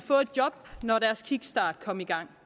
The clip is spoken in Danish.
job når deres kickstart kom i gang